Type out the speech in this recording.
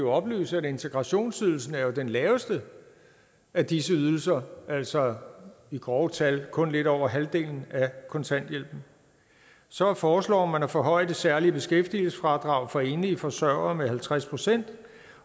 oplyse at integrationsydelsen jo er den laveste af disse ydelser altså i grove tal kun lidt over halvdelen af kontanthjælpen så foreslår man at forhøje det særlige beskæftigelsesfradrag for enlige forsørgere med halvtreds procent